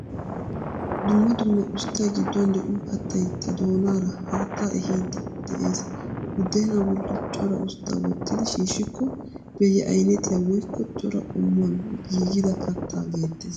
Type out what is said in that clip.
Dumma dumma usttay gidduwan de'iyo kattay ta doonaara haattaa ehidi de'ees. Buddena bolli cora ustta wottidi shiishikko beye aynettiya woykko cora qommuuwan giigida katta geettees.